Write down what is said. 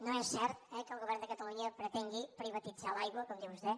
no és cert eh que el govern de catalunya pretengui privatitzar l’aigua com diu vostè